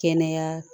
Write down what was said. Kɛnɛya